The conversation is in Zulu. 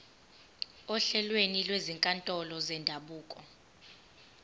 ohlelweni lwezinkantolo zendabuko